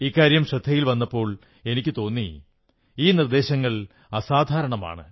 ഇക്കാര്യം ശ്രദ്ധയിൽ വന്നപ്പോൾ എനിക്കുതോന്നി ഈ നിർദ്ദേശങ്ങൾ അസാധാരണമാണ്